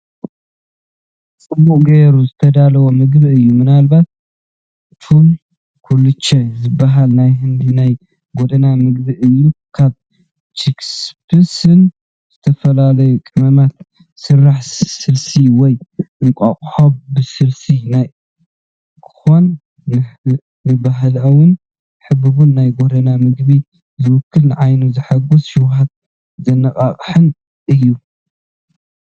ጽቡቕ ጌሩ ዝተዳለወ ምግቢ እዩ፣ ምናልባት ቾለ ኩልቸ ዝበሃል ናይ ህንዲ ናይ ጎደና መግቢ እዩ። ካብ ቺክፒስን ዝተፈላለየ ቀመማትን ዝስራሕ ስልሲ ወይ እንቋቁሖ ብስልሲ ኮይኑ፡ ንባህላውን ሕቡብን ናይ ጎደና ምግቢ ዝውክል፣ ንዓይኒ ዘሐጉስን ሸውሃት ዘነቓቕሕን እዩ፡፡